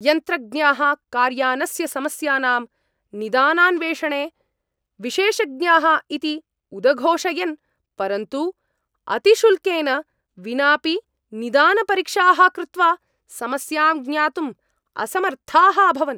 यन्त्रज्ञाः कार्यानस्य समस्यानां निदानान्वेषणे विशेषज्ञाः इति उदघोषयन् परन्तु अतिशुल्केन विनापि निदानपरीक्षाः कृत्वा समस्यां ज्ञातुम् असमर्थाः अभवन्।